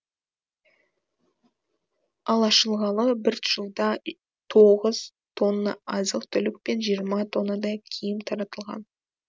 ал ашылғалы бір жылда тоғыз тонна азық түлік пен жиырма тоннадай киім таратылған